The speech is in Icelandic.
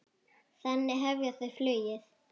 Þannig hefja þau flugið.